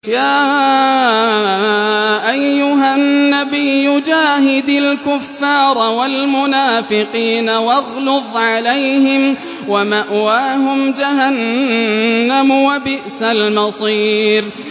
يَا أَيُّهَا النَّبِيُّ جَاهِدِ الْكُفَّارَ وَالْمُنَافِقِينَ وَاغْلُظْ عَلَيْهِمْ ۚ وَمَأْوَاهُمْ جَهَنَّمُ ۖ وَبِئْسَ الْمَصِيرُ